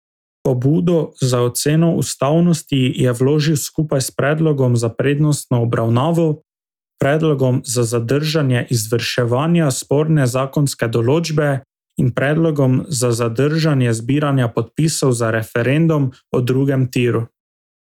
Pobudo za oceno ustavnosti je vložil skupaj s predlogom za prednostno obravnavo, predlogom za zadržanje izvrševanja sporne zakonske določbe in predlogom za zadržanje zbiranja podpisov za referendum o drugem tiru.